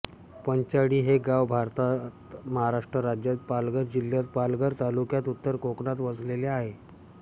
पंचाळी हे गाव भारतात महाराष्ट्र राज्यात पालघर जिल्ह्यात पालघर तालुक्यात उत्तर कोकणात वसलेले आहे